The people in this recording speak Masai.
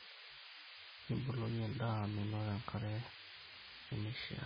Niboloki endaa menoto enkare nemeishiaa.